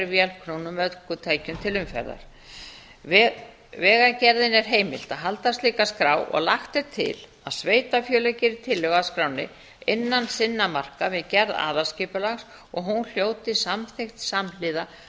vélknúnum ökutækjum til umferðar vegagerðinni er heimilt að halda slíka skrá og lagt er til að sveitarfélög geri tillögu að skránni innan sinna marka við gerð aðalskipulags og hún hljóti samþykkt samhliða